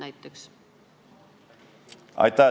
Aitäh!